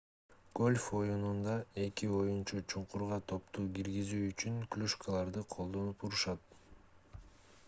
гольф оюнунда эки оюнчу чуңкурга топту киргизүү үчүн клюшкаларды колдонуп урушат